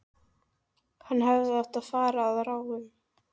Hann hefði átt að fara að ráðum